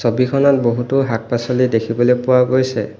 ছবিখনত বহুতো শাক-পাচলি দেখিবলৈ পোৱা গৈছে।